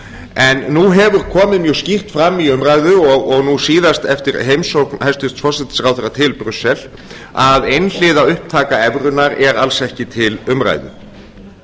en nú hefur komið mjög skýrt fram í umræðu og nú síðast eftir heimsókn hæstvirtur forsætisráðherra til brussel að einhliða upptaka evrunnar er alls ekki til umræðu